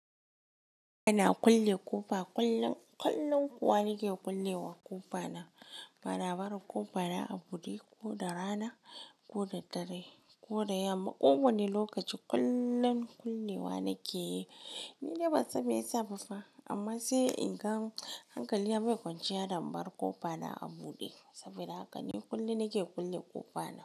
Ina kulle ƙofa, ƙullun ƙullun kuwa nake kulle wa ƙofa na. Bari bara ƙofa na a buɗe ko da rana ko da dare ko da yamma. Kowane lokaci ƙullun kulle wa nake yi. Ni dai ban san me ya sa ba fa amman sai in gan hankali bai kwanciya da in bar ƙofa na a buɗe saboda haka ni ƙulle nake kulle ƙofa na.